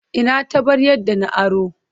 Ina taɓaryar da na aro?